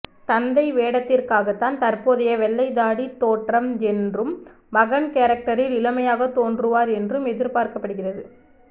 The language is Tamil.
தந்தை வேடத்திற்காகத்தான் தற்போதைய வெள்ளைத்தாடி தோற்றம் என்றும் மகன் கேரக்டரில் இளமையாக தோன்றுவார் என்றும் எதிர்பார்க்கப்படுகிறது